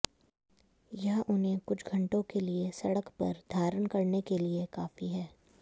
यह उन्हें कुछ घंटों के लिए सड़क पर धारण करने के लिए काफी है